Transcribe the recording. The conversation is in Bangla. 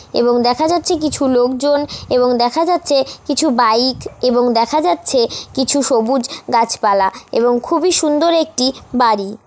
এবং দেখা যাচ্ছে কিছু লোকজন এবং দেখা যাচ্ছে কিছু বাইক এবং দেখা যাচ্ছে কিছু সবুজ গাছপালা এবং খুবই সুন্দর একটি বাড়ি ।